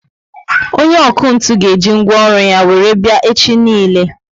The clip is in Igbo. Onye ọkụ ntụ ga eji ngwaọrụ ya were bia echi niile